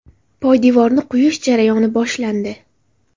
Poydevorni quyish jarayoni boshlandi.